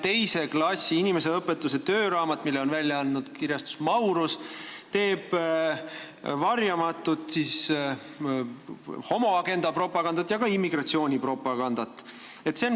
Teise klassi inimeseõpetuse tööraamat, mille on välja andnud kirjastus Maurus, teeb varjamatut homoagenda ja ka immigratsiooni propagandat.